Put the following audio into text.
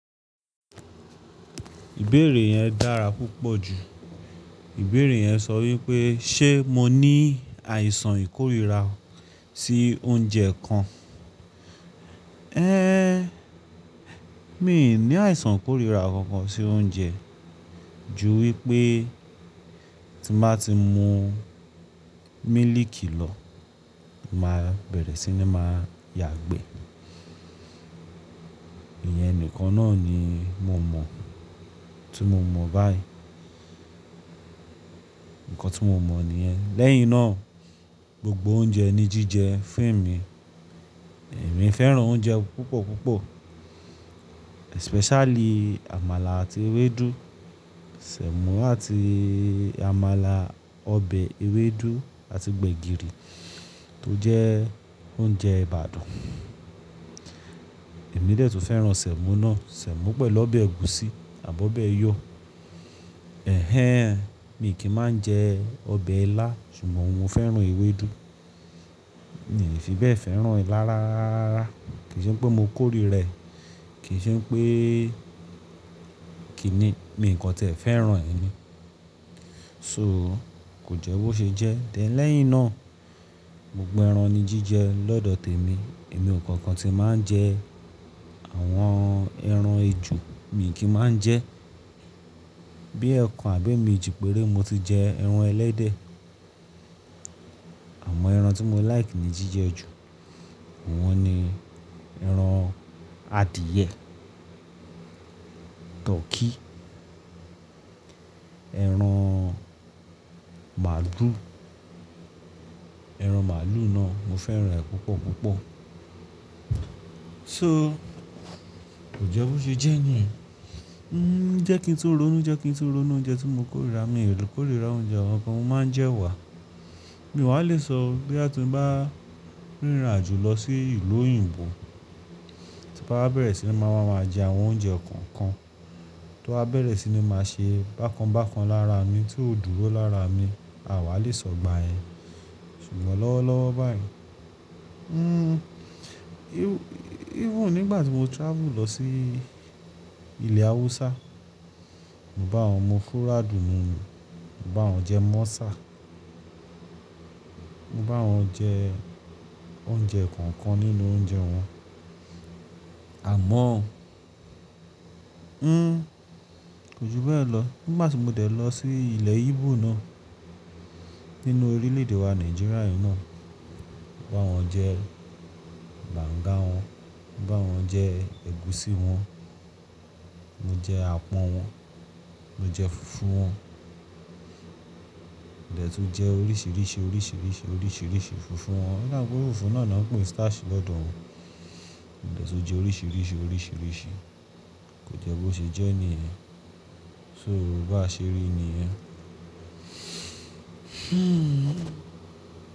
Ìbéèrè yẹn dára púpọ̀ jù. Ìbéèrè yẹn sọ wípé ṣe mo ní àìsàn ìkórìíra sií oúnjẹ kan. Ẹ́ee, mi i ní àìsàn ìkórìíra kankan sí oúnjẹ, ju wípé tí m bá ti mu mílìkì lọ, mo máa bẹ̀rẹ̀ sí ní máa yàgbẹ́. Ìyẹn nìkan náà ni mo mọ̀, tí mo mọ̀ báyìí. Ǹkan tí mo mọ̀ nìyẹn. Lẹ́yìn náà, gbogbo oúnjẹ ni jíjẹ f èmi. Ẹ̀mí fẹ́ràn oúnjẹ púpọ̀ púpọ̀, especially àmàlà àti ewédú, Sẹ̀mọ́ àti àmàlà, ọbẹ̀ ewédú àti gbẹ̀gìrì tó jẹ́ oúnjẹ Ìbàdàn. Èmi dé tún fẹ́ràn Sẹ̀mọ́ náà, Sẹ̀mọ́ pẹ̀lo bẹ̀ ẹ̀gúsí àbọ́ ọbẹ̀ yó. Ẹ̀hẹn, mi kì n máa ń jẹe ọbẹ̀ lá ṣùgbọ́n mo fẹ́ràn ewédú. I n fi bẹ́ẹ̀ fẹ́ràn ilá rááaa ráá. Kì n ṣe pé mo kórìí rẹ̀, kì í ṣe n pée kì í ní, mi ǹkan tiẹ fẹ́ràn è ni. So kò jẹ́ bó ṣe jẹ́. Then lẹ̀yìn náà, gbogbo ẹran ni jíjẹ lọ́dọ̀ tèmi. Èmi ò kankan tí máa ń jẹ àwọn ẹran ejò, mi kì í máa ń jẹ. Bí ẹ̀kan àb è mi ji péré mo ti jẹ ẹran ẹlẹ́dẹ̀. Àmọ́ ẹran tí mo like ní jíjẹ jù, awọn ni ẹran adìẹ, tọkí, ẹran màlúù. Ẹran màlúù náà mo fẹ́ràn ẹ̀ púpọ̀ púpọ̀. So kò jẹ́ bó ṣe jẹ́ nìyẹn. Jẹ́ kí n túró nù, jẹ́ kí n túró nù oúnjẹ tí mo kórìíra, mi i l kórìíra oúnjẹ àn kàn mo máa ń jẹ wà. Mi wà lè sọ bóyá ti n báà rìnrìn àjò lọ sí ìlú òyìnbó, tí bá bẹ̀rẹ̀ sí ní máa wá máa jẹ àwọn oúnjẹ kọ̀ọ̀kan, tó bá bẹ̀rẹ̀ sí ní máa ṣe bákan bákan lára mi tí ó dúró lára mi, àwa lè sọ̀gbà yẹn. Ṣùgbọ́n lọ́wọ́ lọ́wọ́ báyìí, nń, even nígbà tí mo travel lọ sií ilẹ̀ Awúsá, mo bá wọn mu fúrádù nùnu, mo bá wọn jẹ mọ́sà, mo bá wọn jeẹ oúnjẹ kọ̀ọ̀kan nínú oúnjẹ wọn. Àmọ́ó, ńn, kò ju bẹ́ẹ̀ lọ. Nígbà tí mo dẹ̀ lọ sí ilẹ̀ yibò náà nínú orílè-èdè wa Nàìjíríà yìí náà, mo bá wọn jẹ bàǹga wọn, mo bá wọn jẹ ẹ̀gúsí wọn, mo jẹ àpọ̀n wọn, mo jẹ fùfú wọn. Mo dẹ̀ tún jẹ oríṣìíríṣìí, oríṣìíríṣìí, oríṣìíríṣìí fùfú wọn. O dá e pé fùfú náà na n nan ń pè n starch lọ́dọ̀ wọn. Mo dẹ̀ tún jẹ oríṣìíríṣìí, oríṣìíríṣìí. Kò jẹ́ bó ṣe jẹ́ nìyẹn. Soo bá ṣe rí nìyẹn. Hmm.